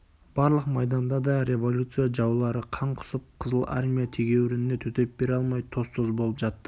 барлық майданда да революция жаулары қан құсып қызыл армия тегеурініне төтеп бере алмай тоз-тоз болып жатты